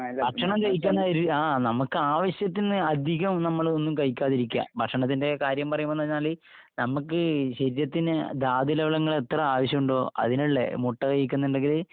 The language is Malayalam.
ഭക്ഷണം കഴിക്കുന്നോരു... ആ... നമ്മക്ക് ആവശ്യത്തിന് അധികം നമ്മളൊന്നും കഴിക്കാതിരിക്കുക. ഭക്ഷണത്തിന്റെ കാര്യം പറയുമ്പോഴെന്ന് പറഞ്ഞാല്.. നമ്മക്ക് ശരീരത്തിന് ധാതുലവണങ്ങൾ എത്ര ആവശ്യമുണ്ടോ അതിനുള്ളത്. മുട്ട കഴിക്കുന്നുണ്ടെങ്കില്...